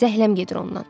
Zəhləm gedir ondan.